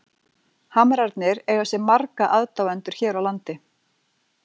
Hamrarnir eiga sér marga aðdáendur hér á landi.